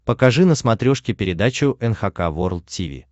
покажи на смотрешке передачу эн эйч кей волд ти ви